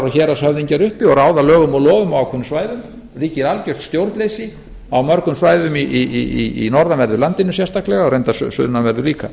og héraðshöfðingjar uppi og ráða lögum og lofum á ákveðnum svæðum ríkir algert stjórnleysi á mörgum svæðum í norðanverðu landinu sérstaklega og reyndar sunnanverðu líka